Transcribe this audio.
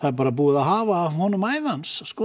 er búið að hafa af honum ævi hans